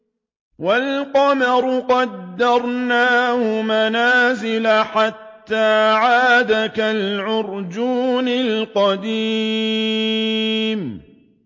وَالْقَمَرَ قَدَّرْنَاهُ مَنَازِلَ حَتَّىٰ عَادَ كَالْعُرْجُونِ الْقَدِيمِ